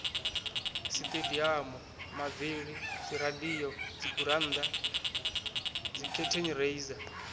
sitediamu mavili dziradio dzigurannda dzikhethenireiza